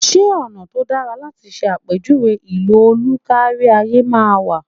Ṣé ọ̀nà tó dáa láti ṣe àpèjúwe ìlò òlù kárí ayé máa wà?